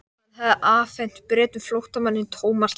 Hann hafði afhent Bretum flóttamanninn Thomas Lang.